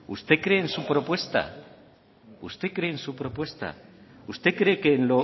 usted cree en su propuesta usted cree en su propuesta usted cree que en